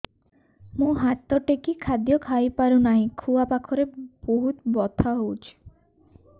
ମୁ ହାତ ଟେକି ଖାଦ୍ୟ ଖାଇପାରୁନାହିଁ ଖୁଆ ପାଖରେ ବହୁତ ବଥା ହଉଚି